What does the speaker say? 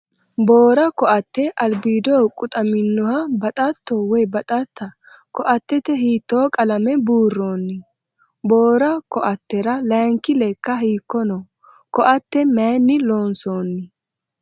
Boora ko'atte albiido quxaminoha baxatto/tta ? Ko'attete hiitto qalame buurroonni ? Boora ko'attera laayinki lekka hiikko noo ? Ko'atte mayinni loonsoonni ?